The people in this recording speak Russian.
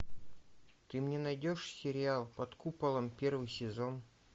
ты мне найдешь сериал под куполом первый сезон